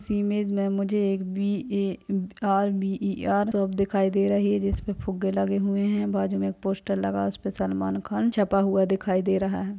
इस इमेज में मुझे एक B A. R. B. E .R. Shop दिख रही है जिसमें फूगे लगे हुए है बाद में पोस्टर लगा है उसपे सलमान खान छापा हुआ दिखाई दे रहा है।